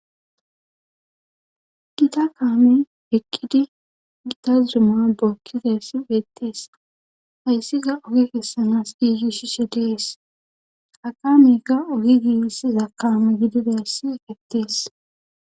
gita kaame eqqidi gitazdima bookkidassi ettees hayssiga oge kessanas giiyi shi she dees ha qamega ogi giissi za kaame gidideessi dettees